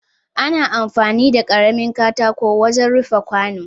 Ana amfani da karamin katako wajen rufin kwano